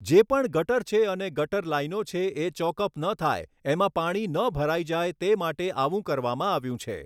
જે પણ ગટર છે અને ગટર લાઇનો છે એ ચૉકઅપ ન થાય એમાં પાણી ન ભરાઈ જાય તે માટે આવું કરવામાં આવ્યું છે.